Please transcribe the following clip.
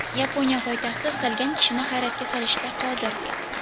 Yaponiya poytaxti istalgan kishini hayratga solishga qodir.